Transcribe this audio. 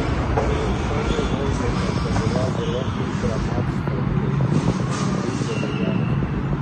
Že v prvi vožnji pa sta bila zelo hitra Maks Frančeškin in Vid Debeljak.